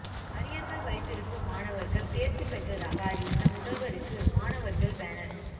அரியர்கள் வைத்து இருக்கும் மாணவர்கள் தேர்ச்சி பெற்றதாக அறிவித்த முதல்வருக்கு மாணவர்கள் பேனர்